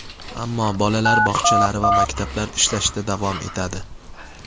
Ammo bolalar bog‘chalari va maktablar ishlashda davom etadi.